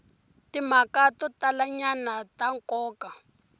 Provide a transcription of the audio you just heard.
timhaka to talanyana ta nkoka